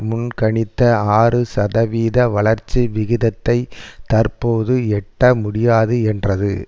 முன்கணித்த ஆறுசதவித வளர்ச்சி விகிதத்தை தற்போது எட்ட முடியாது என்றது